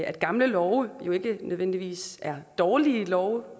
at gamle love jo ikke nødvendigvis er dårlige love